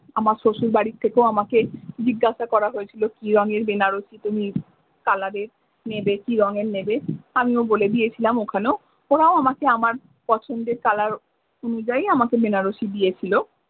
আমার শ্বশুর বাড়ি থেকেও আমাকে জিজ্ঞাসা করা হয়েছিলো কি রঙের বেনারসি তুমি কি কালারের কি রঙের নেবে আমিও বলে দিয়েছিলাম ওখানেও ওরাও আমকে আমার পছন্দের কালার অনুযায়ী আমাকে বেনারসি দিয়েছিলো।